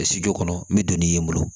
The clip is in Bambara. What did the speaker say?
kɔnɔ n bɛ don ni n bolo